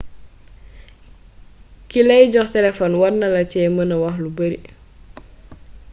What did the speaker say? kilay jox téléfon warnala cé meenee wax lu bari